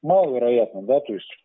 маловероятно да то есть